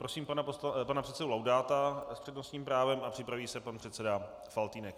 Prosím pana předsedu Laudáta s přednostním právem a připraví se pan předseda Faltýnek.